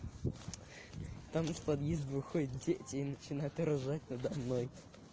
начинает ржать надо мной